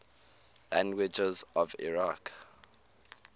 languages of iraq